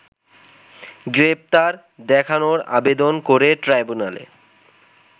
গ্রেপ্তার দেখানোর আবেদন করে ট্রাইব্যুনালে